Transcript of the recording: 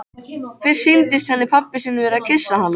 Fyrst sýndist henni pabbi sinn vera að kyssa hana.